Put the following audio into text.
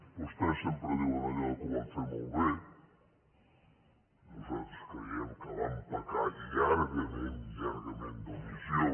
vostès sempre diuen allò que ho van fer molt bé nosaltres creiem que van pe car llargament llargament d’omissió